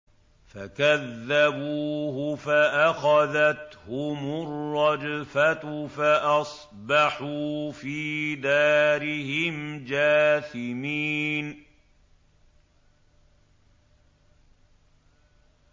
فَكَذَّبُوهُ فَأَخَذَتْهُمُ الرَّجْفَةُ فَأَصْبَحُوا فِي دَارِهِمْ جَاثِمِينَ